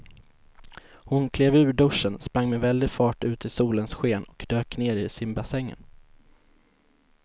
Hon klev ur duschen, sprang med väldig fart ut i solens sken och dök ner i simbassängen.